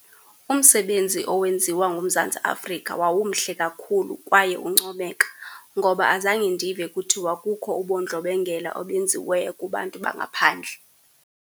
Umsebenzi owenziwa nguMzantsi Afrika wawumhle kakhulu kwaye uncomeka, ngoba azange ndive kuthiwa kukho ubundlobongela obenziweyo kubantu bangaphandle.